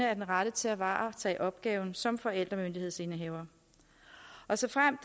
er den rette til at varetage opgaven som forældremyndighedsindehaver såfremt